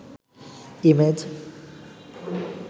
image